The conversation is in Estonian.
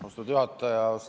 Austatud juhataja!